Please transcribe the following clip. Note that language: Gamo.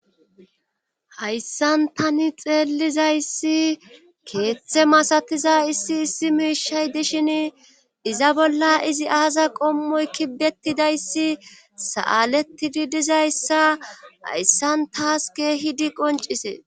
hayssan tani xeellizayssi keeththe masatiza issi issi miishay dishin iza bolla izi aaza qommoy kibettidayssi sa'alettidi dizayssa hayssan taaske hidi qoncisee.